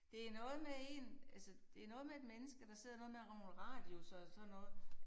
Det noget med én altså det noget med et menneske der sidder noget med nogle radiusser og sådan noget